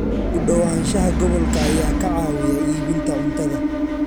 U dhawaanshaha gobolka ayaa ka caawiya iibinta cuntada.